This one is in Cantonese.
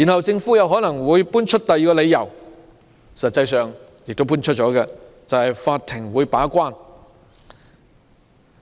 政府又可能搬出第二個理由，實際上已經搬出這個理由，就是法庭會把關。